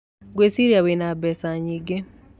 Ngwĩciria wĩ na mbeca nyingĩ.